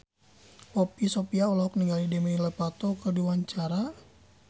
Poppy Sovia olohok ningali Demi Lovato keur diwawancara